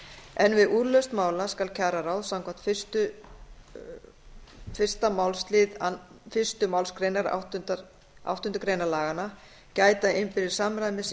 en við úrlausn mála skal kjararáð samkvæmt fyrsta málslið fyrstu málsgrein áttundu grein laganna gæta innbyrðis samræmis í